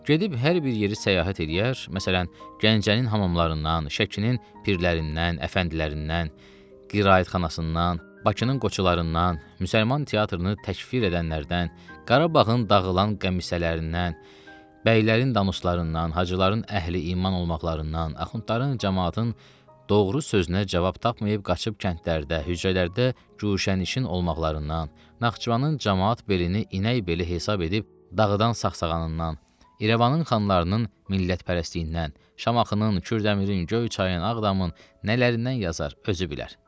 Gedib hər bir yeri səyahət eləyər, məsələn, Gəncənin hamamlarından, Şəkinin pirlərindən, əfəndilərindən, qiraətxanasından, Bakının qoçularından, müsəlman teatrını təkfir edənlərdən, Qarabağın dağılan qəmisələrindən, bəylərin danuslarından, hacıların əhli-iman olmaqlarından, axundların camaatın doğru sözünə cavab tapmayıb qaçıb kəndlərdə, hücrələrdə güşənişin olmaqlarından, Naxçıvanın camaat beli inək beli hesab edib, dağdan saxsağanından, İrəvanın xanlarının millətpərəstliyindən, Şamaxının, Kürdəmirin, Göyçayın, Ağdamın nələrindən yazar özü bilər.